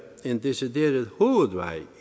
en decideret hovedvej